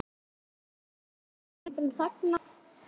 Þú veist, Lömbin þagna.